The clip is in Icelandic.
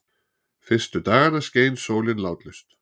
Fyrstu dagana skein sólin látlaust.